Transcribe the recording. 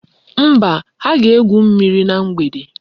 Mba, ha ga-egwu mmiri na mgbede.